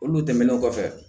Olu tɛmɛnen kɔfɛ